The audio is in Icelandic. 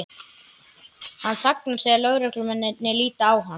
Hann þagnar þegar lögreglumennirnir líta á hann.